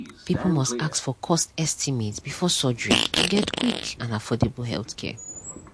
people must ask for cost estimate before surgery to get quick and affordable healthcare.